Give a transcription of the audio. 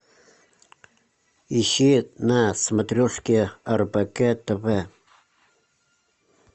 ищи на смотрешке рбк тв